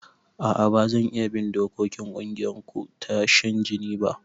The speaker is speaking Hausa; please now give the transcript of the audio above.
A'a bazan iya bin dokokin kungiyarku ta shan jini ba